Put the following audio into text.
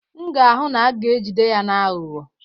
M ga-ahụ na a ga-ejide ya na-aghọ aghụghọ